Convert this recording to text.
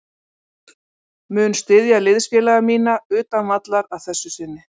Mun styðja liðsfélaga mína utan vallar að þessu sinni.